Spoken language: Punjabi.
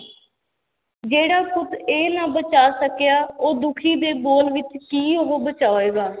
ਜਿਹੜਾ ਪੁੱਤ ਇਹ ਨਾ ਬਚਾ ਸਕਿਆ, ਉਹ ਦੁੱਖੀ ਦੇ ਬੋਲ ਵਿੱਚ ਕੀ ਉਹ ਬਚਾਏਗਾ।